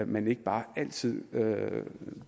man ikke bare altid